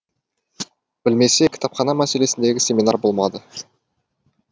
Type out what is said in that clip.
білмесе кітапхана мәселесіндегі семинар болмады